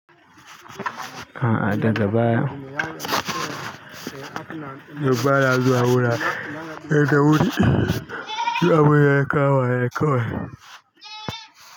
A'a daga baya, duk bana zuwa wurare da wuri, duk abinda ya kama ne kawai.